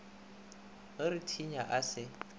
re go thinya a se